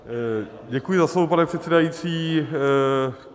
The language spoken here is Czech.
Děkuji za slovo, pane předsedající.